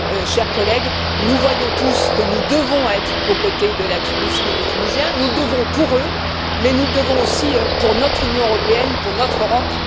Chers collègues, nous voyons tous que nous devons être aux côtés de la Tunisie et des Tunisiens. Nous le devons pour eux, mais nous le devons aussi pour notre Union européenne, pour notre Europe.